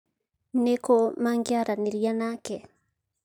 Nĩ kũ mangĩaranĩria nake?